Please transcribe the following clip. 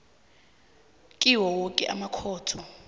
kwawo woke amakhotho